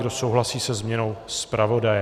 Kdo souhlasí se změnou zpravodaje?